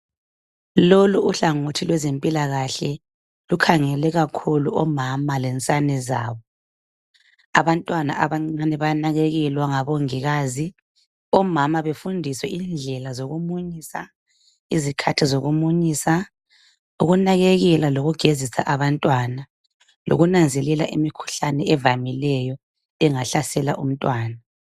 Lolu uhlangothi lwezempilakahle lukhangele kakhulu omama lensane zabo ,abantwana abancane bayanakekelwa ngomongikazi omama befundiswe indlela zokumunyisa zikhathi zokumunyisa lokunakekela lokugezisa abantwana lokunanzelela imikhuhlane evamileyo engahlasela umntwana.